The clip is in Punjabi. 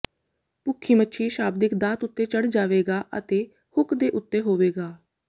ਭੁੱਖੀ ਮੱਛੀ ਸ਼ਾਬਦਿਕ ਦਾਤ ਉੱਤੇ ਚੜ੍ਹ ਜਾਵੇਗਾ ਅਤੇ ਹੁੱਕ ਦੇ ਉੱਤੇ ਹੋਵੇਗਾ